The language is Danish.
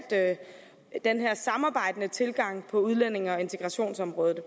den her samarbejdende tilgang til udlændinge og integrationsområdet